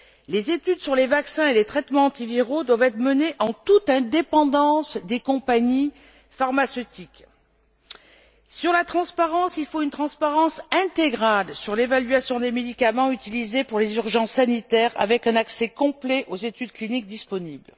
Les études sur les vaccins et les traitements antiviraux doivent être menées en toute indépendance des compagnies pharmaceutiques. S'agissant de la transparence, il faut une transparence intégrale sur l'évaluation des médicaments utilisés pour les urgences sanitaires avec un accès complet aux études cliniques disponibles.